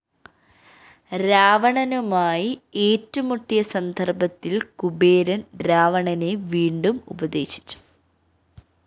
രാവണനുമായി ഏറ്റുമുട്ടിയ സന്ദര്‍ഭത്തില്‍ കുബേരന്‍ രാവണനെ വീണ്ടും ഉപദേശിച്ചു